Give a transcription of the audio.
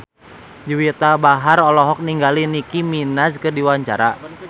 Juwita Bahar olohok ningali Nicky Minaj keur diwawancara